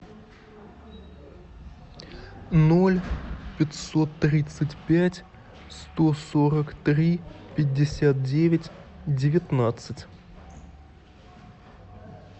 ноль пятьсот тридцать пять сто сорок три пятьдесят девять девятнадцать